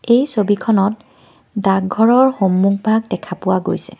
এই ছবিখনত ডাকঘৰৰ সন্মুখ ভাগ দেখা পোৱা গৈছে।